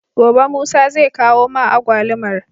Gobe musa zai kawo ma agwalumar